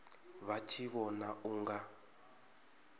vha tshi vhona u nga